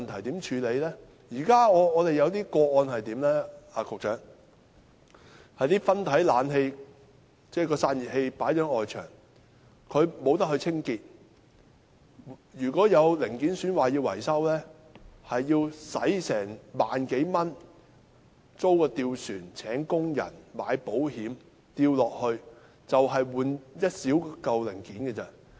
局長，在我們現時的個案中，有些分體式冷氣機的散熱器設置在外牆上，無法清潔，如果有零件損壞需要維修，便要花萬多元租一隻吊船、聘用工人及購買保險，就是為了更換一件小零件而已。